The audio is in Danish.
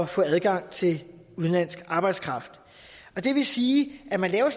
få adgang til udenlandsk arbejdskraft og det vil sige at man laver